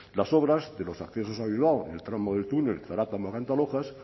las obras de los accesos a bilbao en el tramo del túnel zaratamo a cantalojas